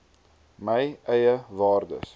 my eie waardes